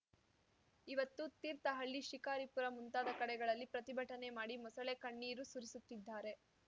ಇವತ್ತು ತೀರ್ಥಹಳ್ಳಿ ಶಿಕಾರಿಪುರ ಮುಂತಾದ ಕಡೆಗಳಲ್ಲಿ ಪ್ರತಿಭಟನೆ ಮಾಡಿ ಮೊಸಳೆ ಕಣ್ಣೀರು ಸುರಿಸುತ್ತಿದ್ದಾರೆ